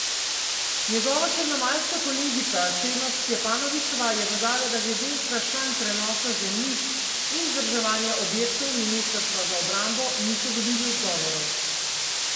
Njegova črnomaljska kolegica Čemas Stjepanovičeva je dodala, da glede vprašanj prenosa zemljišč in vzdrževanja objektov ministrstva za obrambo niso dobili odgovorov.